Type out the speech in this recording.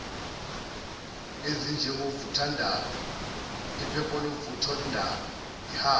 ezinjengovuthondaba ipholavuthondaba ihaba